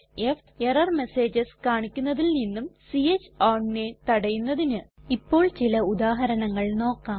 f error messages കാണിക്കുന്നതിൽ നിന്നും ച്ച് ownനെ തടയുന്നതിന് ഇപ്പോൾ ചില ഉദാഹരണങ്ങൾ നോക്കാം